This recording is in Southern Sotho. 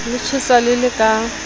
le tjhesa le le ka